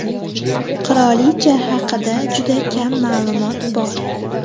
Qirolicha haqida juda kam ma’lumot bor.